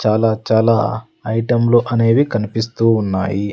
చాలా చాలా ఐటెంలో అనేవి కనిపిస్తూ ఉన్నాయి.